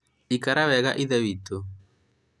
ikara wega ithe witũ